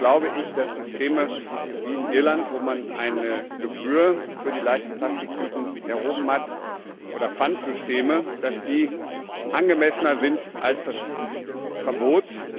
Trotzdem glaube ich, dass Systeme wie in Irland, wo man eine Gebühr für die leichten Plastiktüten erhoben hat, oder Pfandsysteme angemessener sind als das Verbot.